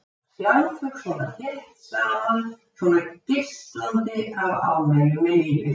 Að sjá þau svona þétt saman, svona geislandi af ánægju með lífið.